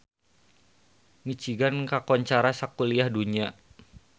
Michigan kakoncara sakuliah dunya